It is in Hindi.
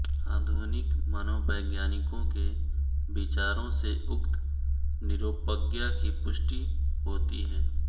आधुनिक मनोवैज्ञानिकों के विचारों से उक्त निरोपज्ञा की पुष्टि होती है